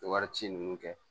Wari ci nunnu kɛ